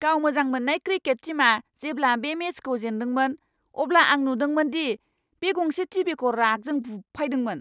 गाव मोजां मोननाय क्रिकेट टीमआ जेब्ला बे मेचखौ जेन्दोंमोन, अब्ला आं नुदोंमोन दि बे गंसे टिभिखौ रागजों बुफायदोंमोन!